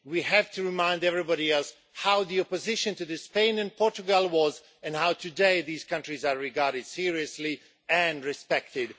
We have to remind everybody else how the opposition to Spain and Portugal was, and how today these countries are regarded seriously and are respected.